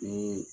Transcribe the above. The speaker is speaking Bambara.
Ni